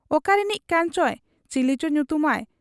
ᱚᱠᱟᱨᱤᱱᱤᱡ ᱠᱟᱱᱪᱚᱭ, ᱪᱤᱞᱤᱪᱚ ᱧᱩᱛᱩᱢᱟᱭ ᱾